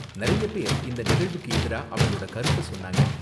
நிறைய பேர் இந்த நிகழ்வுக்கு எதிரா அவங்களோட கருத்த சொன்னாங்க.